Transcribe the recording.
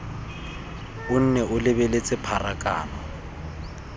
o nne o lebeletse pharakano